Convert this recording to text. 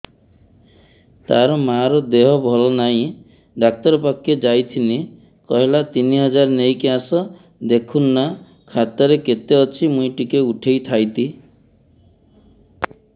ତାର ମାର ଦେହେ ଭଲ ନାଇଁ ଡାକ୍ତର ପଖକେ ଯାଈଥିନି କହିଲା ତିନ ହଜାର ନେଇକି ଆସ ଦେଖୁନ ନା ଖାତାରେ କେତେ ଅଛି ମୁଇଁ ଟିକେ ଉଠେଇ ଥାଇତି